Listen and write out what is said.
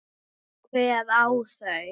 En hver á þau?